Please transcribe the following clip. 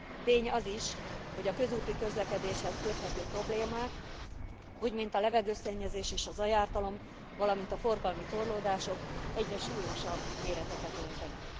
Tény az is, hogy a közúti közlekedéshez köthető problémák, úgy mint a levegőszennyezés és zajártalom, valamint a forgalmi torlódások egyre súlyosabb méreteket öltenek.